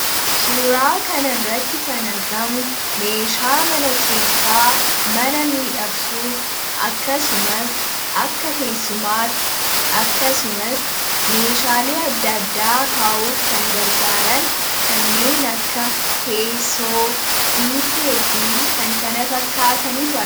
Suuraa kanarratti kan argamu meeshaa mana keessaa mana miidhagsuuf akkasumas akka teessumaatti akkasumas meeshaalee adda addaa kaa'uuf kan gargaaran kanneen akka teessoo, biiffee fi kan kana fakkaatanitu argamu.